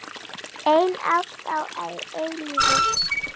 Ein ást að eilífu.